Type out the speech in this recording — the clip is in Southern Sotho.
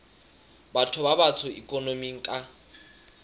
batho ba batsho ikonoming ka